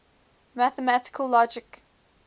mathematical logic